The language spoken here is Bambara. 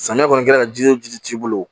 Samiya kɔni kɛra jiri o jiri t'i bolo